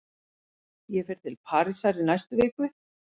Ég fer til Parísar í næstu viku.